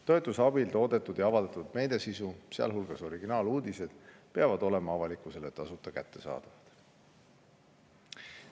Toetuse abil toodetud ja avaldatud meediasisu, sealhulgas originaaluudised, peavad olema avalikkusele tasuta kättesaadavad.